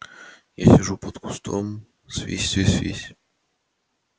я сижу под кустом а свись свись свись